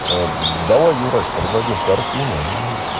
а давай юрась продадим картину и